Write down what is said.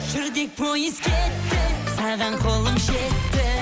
жүрдек пойыз кетті саған қолым жетті